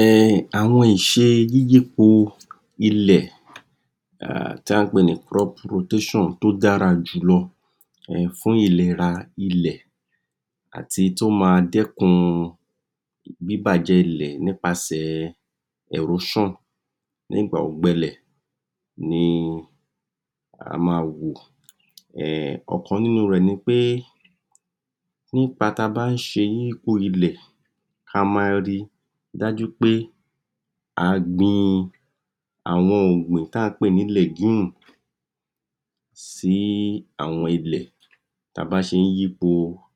um Àwọn ìṣe yíyípo ilẹ̀ um táà ń pè ní kírọ́ọ̀bù rotéṣàn tó dára jùlọ um fún ìlera ilẹ̀ àt'èyí tó máa dẹ́kun bíbàjẹ́ ilẹ̀ nípasè ẹ̀róṣàn ní ìgbà ọ̀gbẹlẹ̀ ni a máa wò um Ọ̀kan nínú rẹ̀ ni pé nípa ta bá ń ṣe yípo ilẹ̀ a ma ri dájú pé àá gbin àwọn ọ̀gbìn táà ń pè ní lẹ̀gímù sí àwọn ilẹ̀ táa bá ṣe ń yípo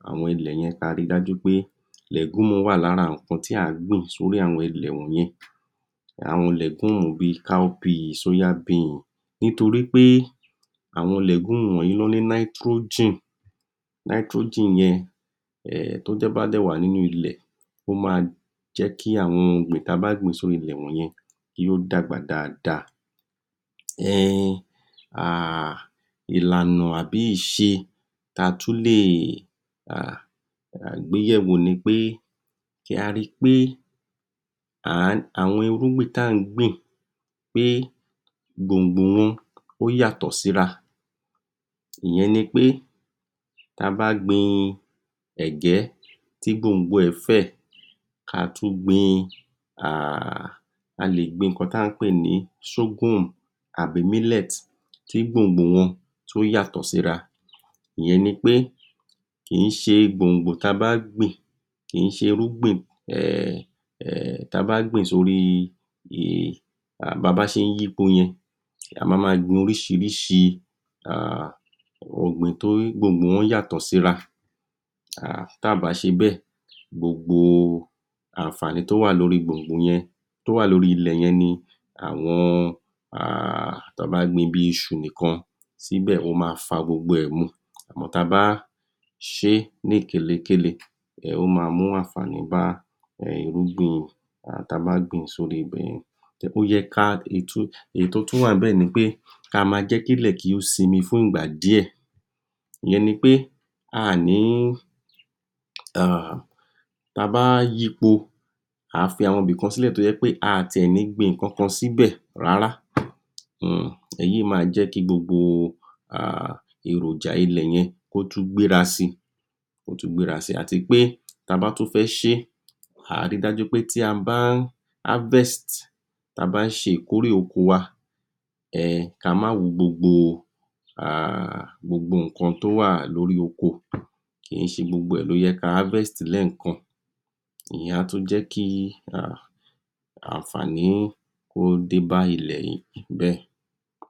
awọn ilẹ̀ yẹn àá ríi dájú pé lẹ̀gúnmù wà lára ǹnkan tí àá gbìn s'órí àwọn ilẹ̀ ò míì àwọn lẹ̀gúnmù bíi káóbiì, sóyá biǹsì nítorí pé àwọn lẹ̀gúnmù wọ̀nyí nání náítírojín, náítírojín yẹn um tó jẹ́ tó bá dẹ̀ wà nínù-un'lẹ̀ ó máa jẹ́ kí àwọn ọ̀gbìn ta bá gbìn s'orí ilẹ̀ wọ̀nyẹn kí ó dàgbà dáadáa. um um Ìlànà àbí ìṣe ta tú lè um gbéyẹ̀wò ni pé, kí a ri pé um àwọn irúgbìn táà ń gbìn pé gbòǹgboo wọn, ó yàtọ̀ sí'ra ìyẹn ni pé ta bá gbin ẹ̀gẹ́ tí gbòǹgbò ẹ̀ fẹ̀ ka tú gbin um a lègbin ǹnkan tí à ń pè ní sógún àbí mílẹ́ẹ̀tì tí gbòǹgbòo wọn tí ó yàtọ̀ síra ìyẹn ni pé kìí ṣe gbòǹgbò ta bá gbìn kìn-ín ṣe'rúngbìn um ta bá gbìn sóríi um um babá ṣe ń yípo yẹn a mama gbin oríṣiríṣi um ọ̀gbìn tí gbòǹgbò wọn yàtọ̀ sí'ra um táà bá ṣe bẹ́ẹ̀, gbogbo àǹfàní tó wà lórí gbòǹgbò yẹn tó wà lórí ilẹ̀ yẹn ni àwọn um tán bá gbin bíi iṣu nìkan sí'bẹ̀ wọ́n máa fa gbogbo ẹ̀ mu àmọ́ ta bá ṣe é ní kèle kélekèle um ó máa mú àǹfàní bá um irúgbìn um ta bá gbìn-ín s'órí ibẹ̀yẹn Ó yẹ ká, um inun tó tú wà níbẹ̀ ni pé ka ma jẹ́ kí ilẹ̀ kí ó sinmi fún ìgbà díẹ̀ ìyẹn ni pé aàní um ta báá yipo àá fi àwọn bìkan sílẹ̀ tójẹ́ pé aà ti ẹ̀ ní gbin nǹkan kan síbẹ̀ rárá um èyí máa jẹ́ kí gbogbo um èròjà ilẹ̀ yẹn kó tú gbéra síi, kó tú gbéra sí, àti pé ta bá tú fẹ́ ṣe é àá ríi dájú pé tí a bá ń áfẹ́ẹ́sì tí a bá ń ṣe ìkórè oko'wa um ka má ro gbogbo um ǹnkan tó wà lórí oko kìì ṣe gbogbo ẹ̀ ló yẹ ká áfẹ́ẹ́sì lẹ́ẹ̀kan ìyẹn á tú jẹ́ kí um àǹfàń kó dé bá ilẹ̀ yìí bẹ́ẹ̀